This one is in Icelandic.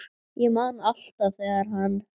Ég man alltaf þegar hann